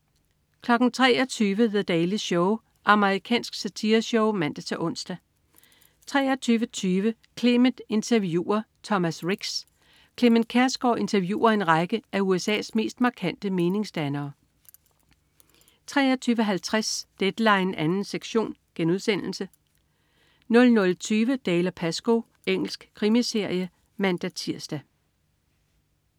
23.00 The Daily Show. Amerikansk satireshow (man-ons) 23.20 Clement interviewer Thomas Ricks. Clement Kjersgaard interviewer en række af USA's mest markante meningsdannere 23.50 Deadline 2. sektion* 00.20 Dalziel & Pascoe. Engelsk krimiserie (man-tirs)